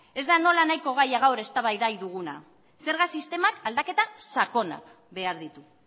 ez da nola nahiko gaia gaur eztabaida duguna zerga sistemak aldaketa sakonak behar ditu